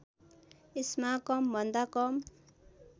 यसमा कमभन्दा कम